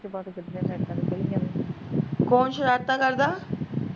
ਕੋਣ ਸ਼ਰਾਰਤਾਂ ਕਰਦਾ